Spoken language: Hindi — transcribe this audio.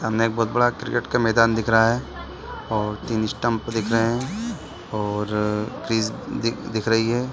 सामने एक बहोत बड़ा क्रिकेट का मैदान दिख रहा है और तीन स्टम्प दिख रहे है और दिख रही है।